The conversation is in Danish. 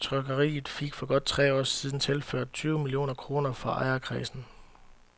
Trykkeriet fik for godt tre år siden tilført tyve millioner kroner fra ejerkredsen.